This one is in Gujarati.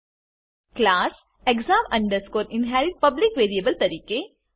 class exam inherit public variable તરીકે